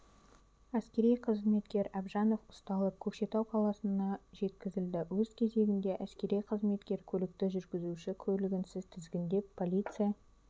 әскери қызметкер әбжанов ұсталып көкшетау қаласының жеткізілді өз кезегінде әсери қызметкер көлікті жүргізуші куәлігінсіз тізгіндеп полиция